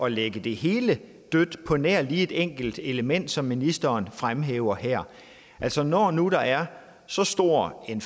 at lægge det hele dødt på nær lige et enkelt element som ministeren fremhæver her altså når nu der er så stor en